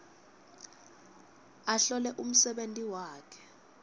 ahlole umsebenti wakhe